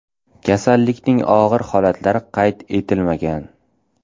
Kasallikning og‘ir holatlari qayd etilmagan.